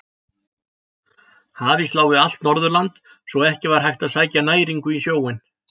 Hafís lá við allt Norðurland svo að ekki var hægt að sækja næringu í sjóinn.